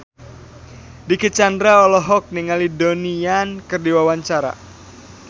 Dicky Chandra olohok ningali Donnie Yan keur diwawancara